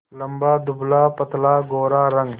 लंबा दुबलापतला गोरा रंग